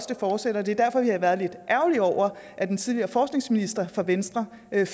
det fortsætter det er derfor vi har været lidt ærgerlige over at den tidligere forskningsminister fra venstre